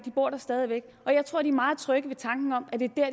bor der stadig væk og jeg tror de er meget trygge ved tanken om at det er